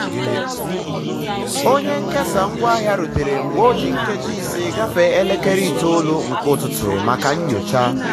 onye nkesa ngwaahịa rutere mgbe o ji nkeji ise gafee elekere itoolu nke ụtụtụ maka nyocha.